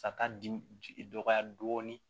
Sata di dɔgɔya dɔɔnin